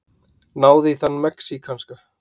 Náðu í þann mexíkanska!